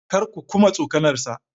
Kar ku kuma tsokanarsa!